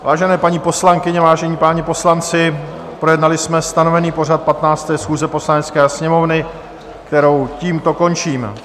Vážené paní poslankyně, vážení páni poslanci, projednali jsme stanovený pořad 15. schůze Poslanecké sněmovny, kterou tímto končím.